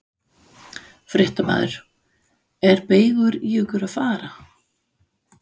Fréttamaður: Er beygur í ykkur að fara?